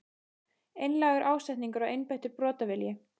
Einlægur ásetningur og einbeittur brotavilji?